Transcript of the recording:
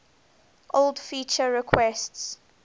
old feature requests